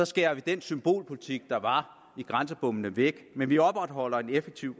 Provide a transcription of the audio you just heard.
skærer vi den symbolpolitik der var i grænsebommene væk men vi opretholder en effektiv